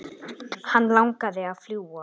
Hann langaði að fljúga.